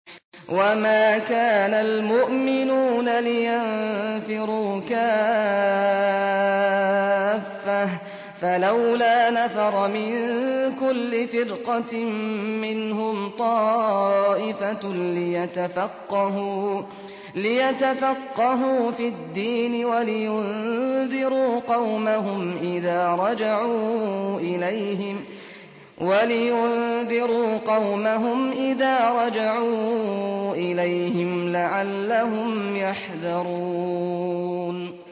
۞ وَمَا كَانَ الْمُؤْمِنُونَ لِيَنفِرُوا كَافَّةً ۚ فَلَوْلَا نَفَرَ مِن كُلِّ فِرْقَةٍ مِّنْهُمْ طَائِفَةٌ لِّيَتَفَقَّهُوا فِي الدِّينِ وَلِيُنذِرُوا قَوْمَهُمْ إِذَا رَجَعُوا إِلَيْهِمْ لَعَلَّهُمْ يَحْذَرُونَ